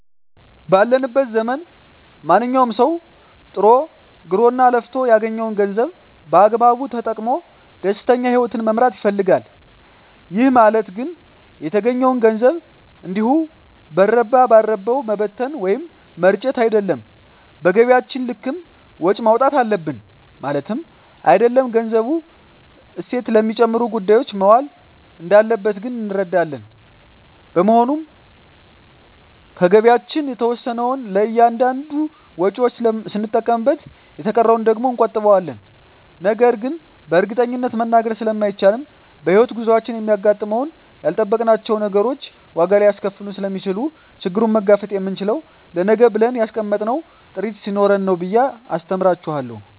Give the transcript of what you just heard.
ባለንበት ዘመን ማንኛዉም ሰዉ ጥሮ ግሮእና ለፍቶ ያገኘዉን ገንዘብ በአግባቡ ተጠቅሞ ደስተኛ ህይወትን መምራት ይፈልጋል ይህ ማለት ግን የተገኘዉን ገንዘብ እንዲሁ በረባ ባረባዉ መበተን ወይም መርጨት አይደለም በገቢያችን ልክም ወጪ ማዉጣት አለብን ማለትም አይደለም ገንዘቡ እሴት ለሚጨምሩ ጉዳዮች መዋል እንዳለበት ግን እንረዳለን በመሆኑም ከገቢያችን የተወሰነዉን ለእያንዳንድ ወጪዎች ስንጠቀምበት የተቀረዉን ደግሞ እንቆጥበዋለን ነገን በእርግጠኝነት መናገር ስለማይቻልም በሕይወት ጉዟችን የሚያጋጥሙን ያልጠበቅናቸዉ ነገሮች ዋጋ ሊያስከፍሉን ስለሚችሉ ችግሩን መጋፈጥ የምንችለዉ ለነገ ብለን ያስቀመጥነዉ ጥሪት ስኖረን ነዉ ብየ አስተምራቸዋለሁ